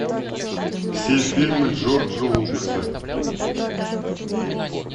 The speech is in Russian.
все фильмы джорджа лукаса